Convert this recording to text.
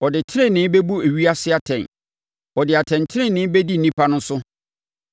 Ɔde tenenee bɛbu ewiase atɛn; ɔde atɛntenenee bɛdi nnipa no so.